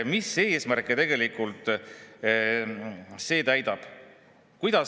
Mis eesmärke see tegelikult täidab?